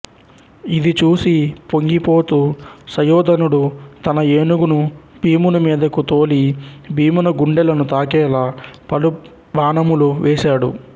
ఇది చూసి పొంగిపోతూ సుయోధనుడు తన ఏనుగును భీముని మీదకు తోలి భీమున గుండెలను తాకేలా పలుబాణములు వేసాడు